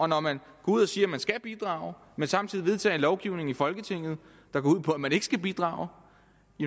når man går ud og siger at man skal bidrage men samtidig vedtager en lovgivning i folketinget der går ud på at man ikke skal bidrage